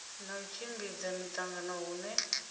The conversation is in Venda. na u tshimbidza miṱangano hune